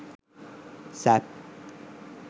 sap